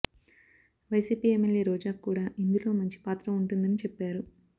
YCP MLA రోజాకు కూడా ఇందులో మంచి పాత్ర ఉంటుందని చెప్పారు